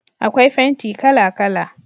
akwai fenti kala kala